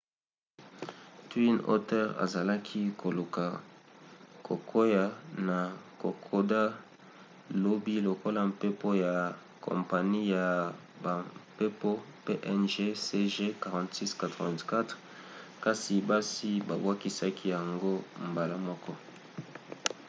twin otter azalaki koluka kokwea na kokoda lobi lokola mpepo ya kompani ya bampepo png cg4684 kasi basi babwakisaki yango mbala moko